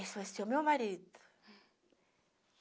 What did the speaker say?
Esse vai ser o meu marido.